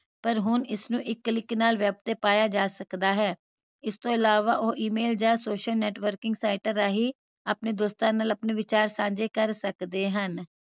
ਪਰ ਹੁਣ ਇਸਨੂੰ ਇੱਕ click ਨਾਲ web ਤੇ ਪਾਈਆਂ ਜਾ ਸਕਦਾ ਹੈ ਇਸ ਤੋਂ ਅਲਾਵਾ ਉਹ email ਜਾ social networking ਸਾਈਟਾਂ ਰਾਹੀਂ ਆਪਣੇ ਦੋਸਤਾਂ ਨਾਲ ਆਪਣੇ ਵਿਚਾਰ ਸਾਂਝੇ ਕਰ ਸਕਦੇ ਹਨ